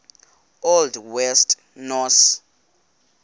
old west norse